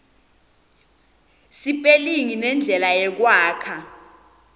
sipelingi nendlela yekwakha